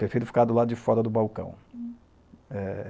Prefiro ficar do lado de fora do balcão. Eh...